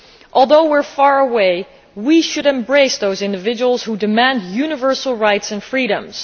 Although we are far away, we should embrace those individuals who demand universal rights and freedoms.